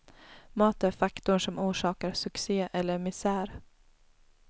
Mat är faktorn som orsakar succé eller misär.